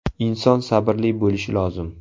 Inson sabrli bo‘lishi lozim!